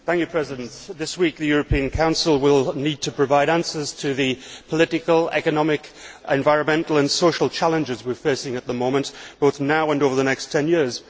Mr President, this week, the European Council will need to provide answers to the political, economic, environmental and social challenges we are facing at the moment, both now and over the next 10 years.